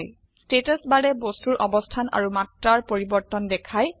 status বাৰে বস্তুৰ অবস্থান আৰু মাত্ৰাৰ পৰিবৰ্তন দেখায়